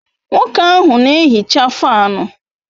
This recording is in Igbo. Nwoke ahu na ehicha fanu